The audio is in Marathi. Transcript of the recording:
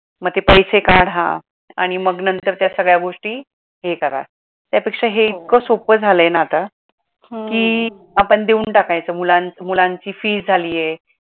मग ते पैसे काढा आणि मग नंतर त्या सगळ्या गोष्टी हे करा त्या पेक्षा हे इतक सोपं झालाय ना आता कि आपण देऊन टाकायचं मुलांची fees झाली आहे